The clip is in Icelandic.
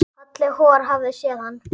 Halli hor hafði séð hann.